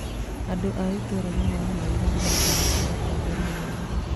Andũ a itũũra nĩ maahoire irathimo kũrĩ atongoria erũ